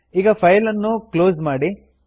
ಈಗ ಫೈಲ್ ಅನ್ನು ಕ್ಲೋಸ್ ಮಾಡಿ